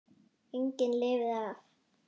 Enginn lifði af.